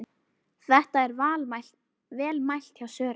Þetta er vel mælt hjá Sören.